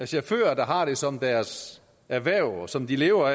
chauffører der har det som deres erhverv som de lever